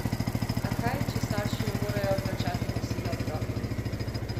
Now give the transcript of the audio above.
A kaj, če starši ne morejo plačati kosila otrokom?